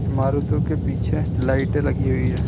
मारुति के पीछे लाइटें लगी हुई है।